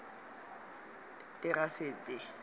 terasete